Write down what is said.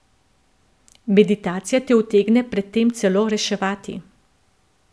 Meditacija te utegne pred tem celo reševati.